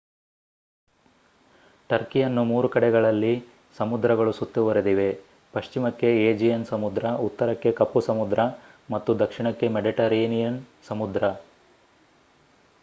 ಟರ್ಕಿಯನ್ನು 3 ಕಡೆಗಳಲ್ಲಿ ಸಮುದ್ರಗಳು ಸುತ್ತುವರೆದಿವೆ ಪಶ್ಚಿಮಕ್ಕೆ ಏಜಿಯನ್ ಸಮುದ್ರ ಉತ್ತರಕ್ಕೆ ಕಪ್ಪು ಸಮುದ್ರ ಮತ್ತು ದಕ್ಷಿಣಕ್ಕೆ ಮೆಡಿಟರೇನಿಯನ್ ಸಮುದ್ರ